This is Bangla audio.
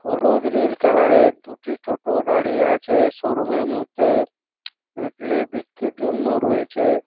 হলুদ নীল কালারের দুটি টোটো দাঁড়িয়ে আছে শোরুমের মধ্যে ইডলি বিক্রির জন্য রয়েছে।